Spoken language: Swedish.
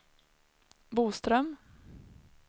Boström